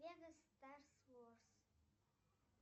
лего старс ворс